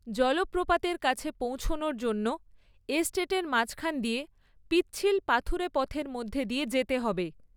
জলপ্রপাতের কাছে পৌঁছানোর জন্য এস্টেটের মাঝখান দিয়ে, পিচ্ছিল পাথুরে পথের মধ্য দিয়ে যেতে হবে।